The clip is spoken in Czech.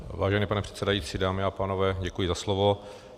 Vážený pane předsedající, dámy a pánové, děkuji za slovo.